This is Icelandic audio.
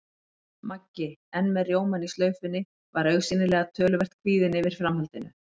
Maggi, enn með rjómann í slaufunni, var augsýnilega töluvert kvíðinn yfir framhaldinu.